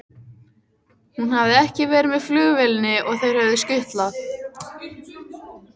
Hún hafði ekki verið með flugvélinni og þeir höfðu skutlað